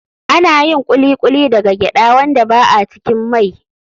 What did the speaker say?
Ana yin Kuli kuli daga gyaɗa wanda ba a cikin mai.